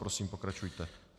Prosím, pokračujte.